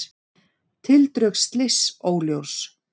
Tildrög slyss óljós